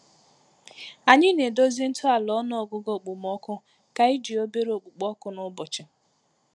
Anyị na-edozi ntọala ọnụọgụgụ okpomọkụ ka iji obere okpukpo oku n'ụbọchị.